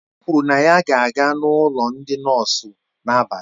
O kwụrụ na ya ga-aga na ụlọ ndị nọọsụ n'abalị a